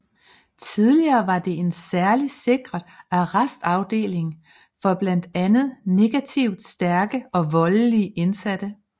Tidligere var det en særlig sikret arrestafdeling for blandt andet negativt stærke og voldelige indsatte